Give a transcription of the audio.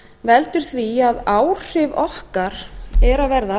veldur því að áhrif okkar eru að verða